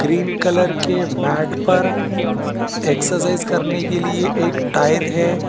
Green colour के mat पर exercise करने के लिए एक टायर है।